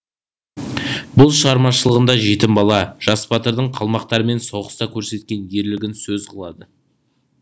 бұл шығармашылығында жетім бала жас батырдың қалмақтармен соғыста көрсеткен ерлігін сөз қылады